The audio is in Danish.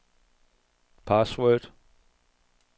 password